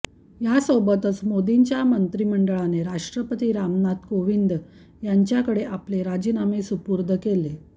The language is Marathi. यासोबतच मोदींच्या मंत्रिमंडळाने राष्ट्रपती रामनाथ कोविंद यांच्याकडे आपले राजीनामे सुपूर्द केले